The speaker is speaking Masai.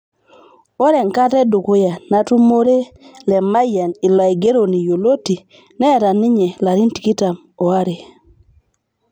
Ore ekata edukuya natumure Lemayian ilo aigeroni yioloti neeta ninye ilarin tikitam o are